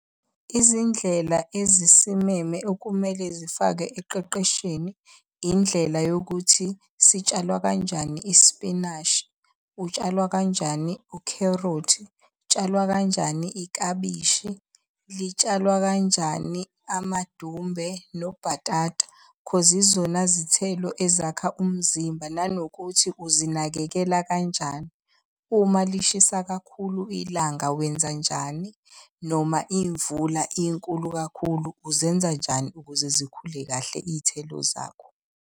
Izindlela ezisimeme okumele zifakwe ekuqeqeshweni indlela yokuthi sitshalwa kanjani ispinashi, utshalwa kanjani ukherothi, kutshalwa kanjani ikabishi, litshalwa kanjani amadumbe nobhatata. Cause izona zithelo ezakha umzimba nanokuthi uzinakekela kanjani. Uma lishisa kakhulu ilanga wenzanjani noma imvula inkulu kakhulu uzenza njani ukuze zikhule kahle iy'thelo zakho.